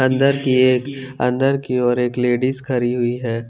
अंदर की एक अंदर की और एक लेडिज खड़ी हुई है।